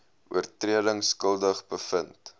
oortredings skuldig bevind